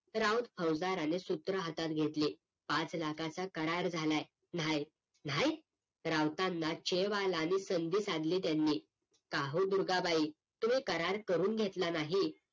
राऊत फौसदाराने सूत्र हातात घेतले पाच लाखाचा करार झाला हे नाही नाही राऊतांना चेब आला आणि संधी साधली त्यांनी काहो दुर्गा बाई तुम्ही करार करून घेतला नाही